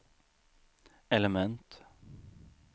element